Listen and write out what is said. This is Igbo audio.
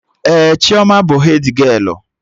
Ee, Chioma bụ hedgialụ